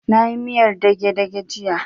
Na yi miyar dage-dage jiya